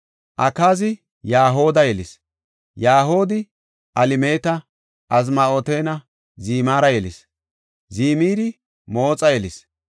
Akaazi Yaho7ada yelis. Yaho7aadi Alemeeta, Azmaawetanne Zimira yelis. Zimiri Mooxa yelis;